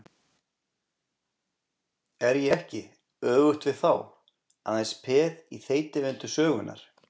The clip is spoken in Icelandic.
Er ég ekki, öfugt við þá, aðeins peð í þeytivindu sögunnar?